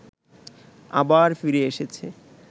আবার ফিরে এসেছে